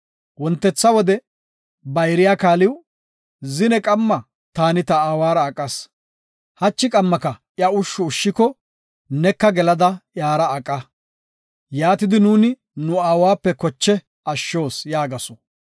Wontetha wode bayriya kaaliw, “Zine qamma taani ta aawara aqas; hachi qammaka iya ushshu ushshiko, neka gelada iyara aqa. Yaatidi nuuni nu aawape koche ashshos” yaagasu.